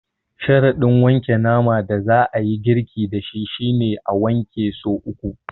Sharaɗin wanke naman da za a yi girki da shi shi ne, a wanke so uku.